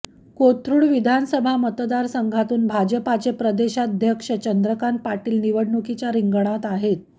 कोथरूड विधानसभा मतदारसंघातून भाजपचे प्रदेशाध्यक्ष चंद्रकांत पाटील निवडणुकीच्या रिंगणात आहेत